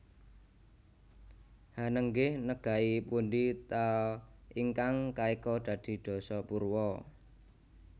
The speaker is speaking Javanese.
Hanenggih negai pundi ta ingkang kaeka adi dasa purwa